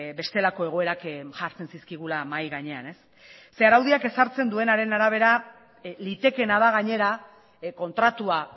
bestelako egoerak jartzen zizkigula mahai gainean araudiak ezartzen duenaren arabera litekeena da gainera kontratua